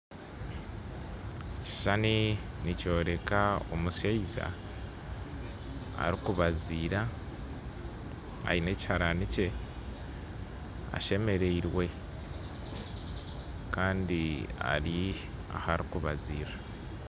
Ekishuushani nikyoreka omushaija arikubazira aine ekihaarani kye ashemerirwe, kandi ari aharikubazirira